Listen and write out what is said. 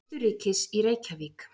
Austurríkis í Reykjavík.